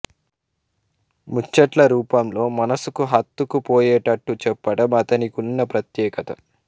ముచ్చట్ల రూపంలో మనసుకు హత్తుకు పోయేట్టు చెప్పెడం అతనికున్న ప్రత్యేకత